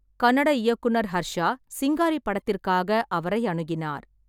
கன்னட இயக்குனர் ஹர்ஷா சிங்காரி படத்திற்காக அவரை அணுகினார்.